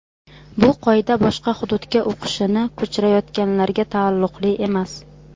Bu qoida boshqa hududga o‘qishini ko‘chirayotganlarga taalluqli emas.